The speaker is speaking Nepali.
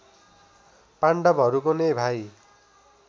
पाण्डवहरूको नै भाइ